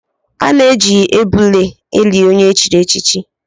A na-eji ebule eli onye chiri echichi